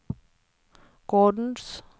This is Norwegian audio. gårdens